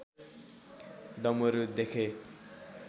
डमरू देखे